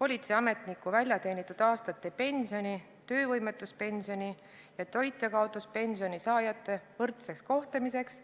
Politseiametniku väljateenitud aastate pensioni, töövõimetuspensioni ja toitjakaotuspensioni saajate võrdseks kohtlemiseks